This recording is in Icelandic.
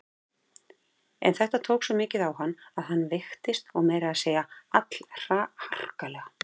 En þetta tók svo mikið á hann að hann veiktist og meira að segja allharkalega.